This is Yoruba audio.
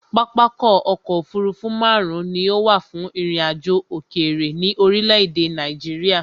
Pápákọ̀ ọ̀kọ òfurufú máàrún ni ó wà fún ìrìn àjò òkèrè ní orílé èdè Nàìjíría